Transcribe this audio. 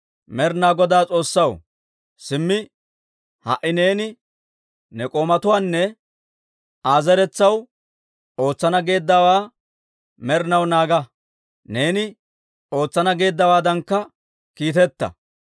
«Med'inaa Godaa S'oossaw, simmi ha"i neeni ne k'oomawunne Aa zeretsaw ootsana geeddawaa med'inaw naaga; neeni ootsana geeddawaadankka kiiteta.